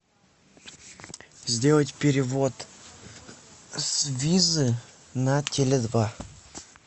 сделать перевод с визы на теле два